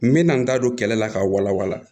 N me na n da don kɛlɛ la k'a wala wala